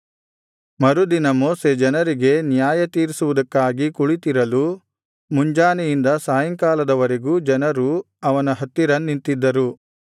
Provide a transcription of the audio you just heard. ಮರುದಿನ ಮೋಶೆ ಜನರಿಗೆ ನ್ಯಾಯತೀರಿಸುವುದಕ್ಕಾಗಿ ಕುಳಿತಿರಲು ಮುಂಜಾನೆಯಿಂದ ಸಾಯಂಕಾಲದವರೆಗೂ ಜನರು ಅವನ ಹತ್ತಿರ ನಿಂತಿದ್ದರು